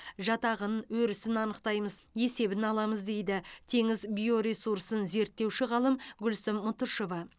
жатағын өрісін анықтаймыз есебін аламыз дейді теңіз биоресурсын зерттеуші ғалым гүлсім мұтышева